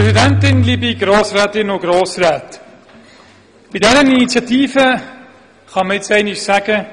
Bei dieser Initiative kann man für einmal sagen: